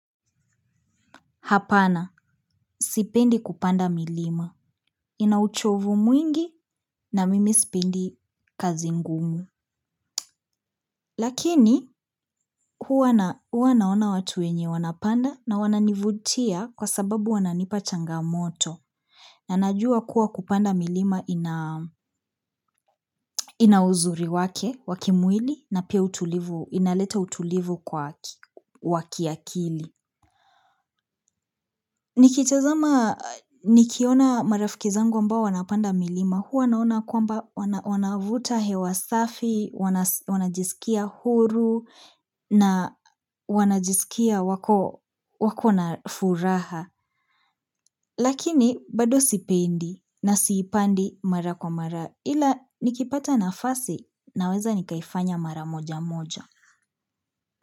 Hapana sipendi kupanda milima. Ina uchovu mwingi na mimi sipendi kazi ngumu. Lakini, huwa naona watu wenye wanapanda na wananivutia kwa sababu wananipa changamoto. Na najua kuwa kupanda milima ina uzuri wake, wa kimwili, na pia inaleta utulivu kwa wa kiakili. Nikitazama nikiona marafiki zangu ambao wanapanda milima huwa naona kwamba wanavuta hewa safi wanajiskia huru na wanajiskia wako wako na furaha lakini bado sipendi na siipandi mara kwa mara ila nikipata nafasi naweza nikaifanya mara moja moja.